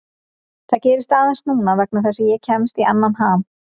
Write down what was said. Það gerist aðeins núna vegna þess að ég kemst í annan ham.